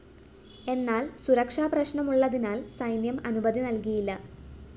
എന്നാല്‍ സുരക്ഷാ പ്രശ്‌നമുള്ളതിനാല്‍ സൈന്യം അനുമതി നല്‍കിയില്ല